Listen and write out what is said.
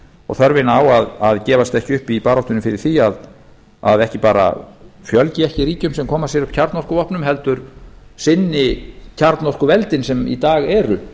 og þörfina á að gefast ekki upp í baráttunni fyrir því að ekki bara fjölgi ekki ríkjum sem koma sér upp kjarnorkuvopnum heldur sinni kjarnorkuveldin sem í dag eru